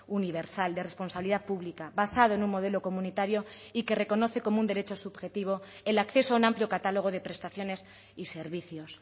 universal de responsabilidad pública basado en un modelo comunitario y que reconoce como un derecho subjetivo el acceso a un amplio catálogo de prestaciones y servicios